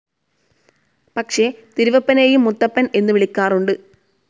പക്ഷെ തിരുവപ്പനെയും മുത്തപ്പൻ എന്നു വിളിക്കാറുണ്ട്.